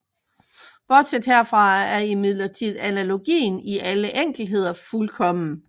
Bortset herfra er imidlertid analogien i alle enkeltheder fuldkommen